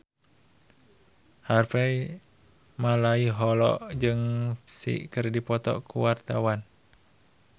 Harvey Malaiholo jeung Psy keur dipoto ku wartawan